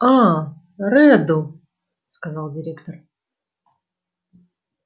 аа реддл сказал директор